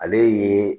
Ale ye